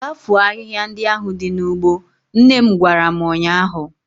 Gaa foo ahihia ndị ahụ dị n'ugbo! nnem gwara m ụnyaahụ.